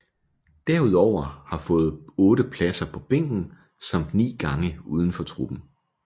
Deruover har fået otte pladser på bænken samt ni gange udenfor truppen